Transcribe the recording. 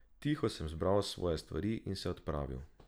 Tiho sem zbral svoje stvari in se odpravil.